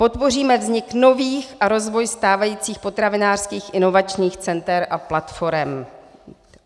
"Podpoříme vznik nových a rozvoj stávajících potravinářských inovačních center a platforem."